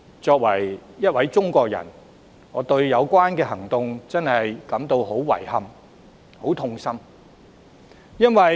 身為中國人，我對這種行動真的感到十分遺憾、痛心。